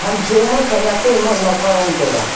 cho ma khanyak ke motmok ka gong taiga.